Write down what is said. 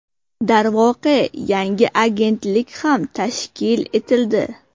Darvoqe, yangi agentlik ham tashkil etildi.